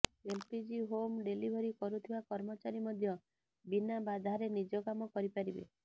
LPG home delivery କରୁଥିବା କର୍ମଚାରୀ ମଧ୍ୟ ବିନା ବାଧାରେ ନିଜ କାମ କରିପାରିବେ